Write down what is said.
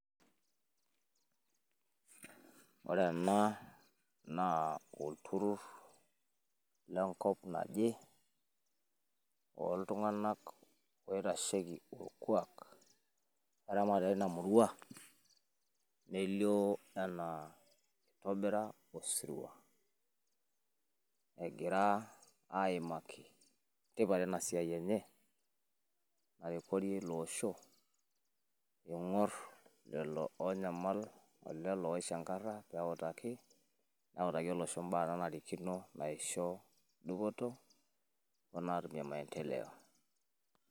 Ore ena naa olturrur le nkop naje, loo iltung`anak oitasheki olkuak eramatare ina murua. Nelio enaa eitobira osirua egira aimaki tipat ena siai enye, narikorie ilo osho. Ing`or lelo oonyamal o lelo oishankarra neutaki olosho imbaa naanarikino o naisho dupoto o naatumie maendeleo.